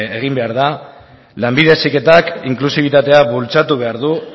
egin behar da lanbide heziketak inklusibitatea bultzatu behar du